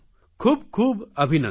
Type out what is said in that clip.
ખૂબ ખૂબ અભિનંદન